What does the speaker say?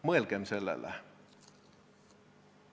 Mõelgem selle peale.